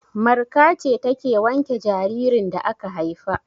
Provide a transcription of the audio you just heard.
Marka ce take wanke jaririn da aka haifa.